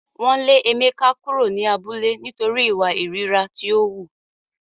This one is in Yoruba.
Wọn le Emeka kuro ni abule nitori iwa ìríra ti o hu.